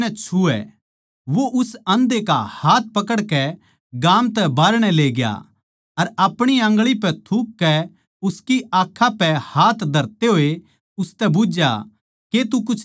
वो उस आंधे का हाथ पकड़कै गाम तै बाहरणै लेग्या अर आपणी आंगळी पै थूककै उसकी आँखां पै हाथ धरते होए उसतै बुझ्झया के तू कुछ देक्खै सै